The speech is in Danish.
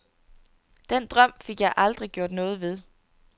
Den drøm fik jeg aldrig gjort noget ved.